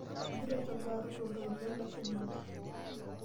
Egira olchogoo aru toltoilo leshumata.